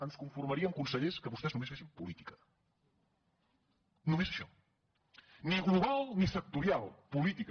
ens conformaríem consellers que vostès només fessin política només això ni global ni sectorial política